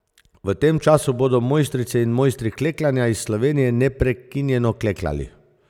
V tem času bodo mojstrice in mojstri klekljanja iz Slovenije neprekinjeno klekljali.